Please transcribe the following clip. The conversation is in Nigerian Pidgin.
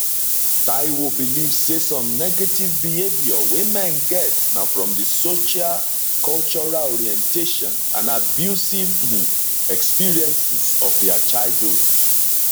taiwo believe say some negative behaviour wey men get na from di socialcultural orientation and abusive um experiences of dia childhood